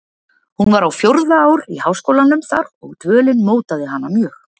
Hún var á fjórða ár í háskólum þar og dvölin mótaði hana mjög.